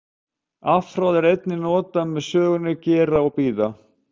Afhroð er einnig notað með sögnunum gera og bíða.